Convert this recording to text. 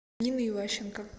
нины иващенко